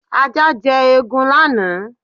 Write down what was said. Ajá jẹ eegun lánàá.